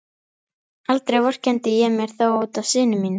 Aldrei vorkenndi ég mér þó út af syni mínum.